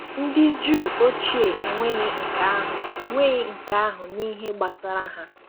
Ndị Juu ochie enweghị nke ahụ enweghị nke ahụ n’ihe gbasara ha.